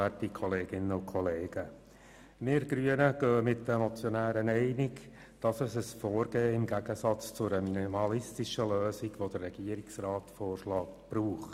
Wir Grünen gehen mit den Motionären einig, dass es im Gegensatz zu einer minimalistischen Lösung, wie sie der Regierungsrat vorschlägt, ein Vorgehen braucht.